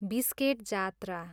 biscuit Jatra